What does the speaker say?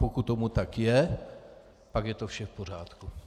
Pokud tomu tak je, pak je to vše v pořádku.